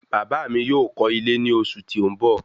Bàbá mí yóò kọ́ ilé ní oṣù tí ó ń bọ